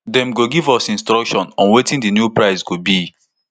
dem go give us instruction on wetin di new price go be